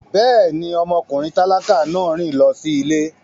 Bẹ́ẹ̀ni, ọmọkùnrin tálákà náà rìn lọ sí ilé